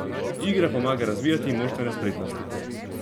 Igra pomaga razvijati moštvene spretnosti.